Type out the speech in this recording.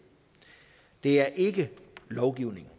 det er ikke lovgivning